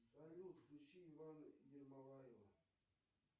салют включи ивана ермолаева